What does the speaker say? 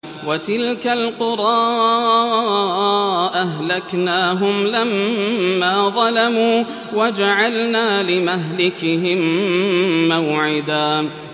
وَتِلْكَ الْقُرَىٰ أَهْلَكْنَاهُمْ لَمَّا ظَلَمُوا وَجَعَلْنَا لِمَهْلِكِهِم مَّوْعِدًا